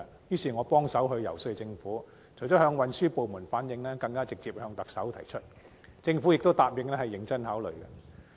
於是，我協助遊說政府，除了向運輸部門反映，更曾直接向特首提出這項建議，政府亦答應會認真考慮。